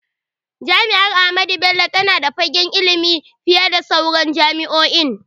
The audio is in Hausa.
Jami’ar Ahmadu Bello tana da fagagen ilimi fiye da sauran jami’o’in.